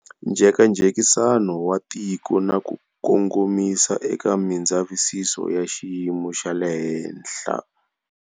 Njhekanjhekisano wa tiko na ku kongomisa eka mindzavisiso ya xiyimo xa le henhla.